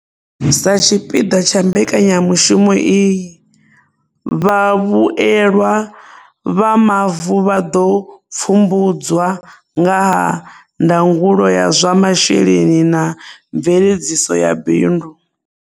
Sa tshipiḓa tsha mbekanyamushumo iyi, vhavhuelwa vha mavu vha ḓo pfumbudzwa ngaha ndangulo ya zwa masheleni na mveledziso ya bindu.